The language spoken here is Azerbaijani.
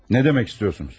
Nə demək istəyirsiniz?